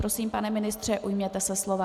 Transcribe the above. Prosím, pane ministře, ujměte se slova.